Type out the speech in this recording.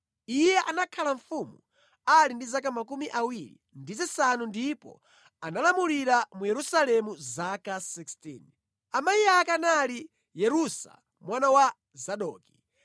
Iye anakhala mfumu ali ndi zaka 25 ndipo analamulira mu Yerusalemu zaka 16. Amayi ake anali Yerusa mwana wa Zadoki.